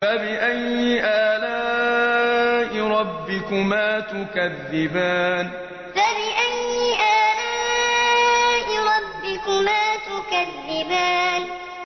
فَبِأَيِّ آلَاءِ رَبِّكُمَا تُكَذِّبَانِ فَبِأَيِّ آلَاءِ رَبِّكُمَا تُكَذِّبَانِ